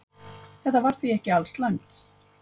Þetta var því ekki alslæmt.